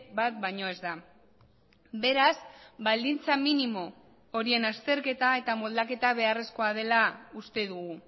bat baino ez da beraz baldintza minimo horien azterketa eta moldaketa beharrezkoa dela uste dugu